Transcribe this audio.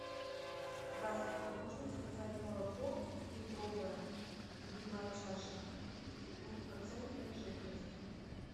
здравствуйте можно заказать молоко литровое любимая чаша двухпроцентной жирности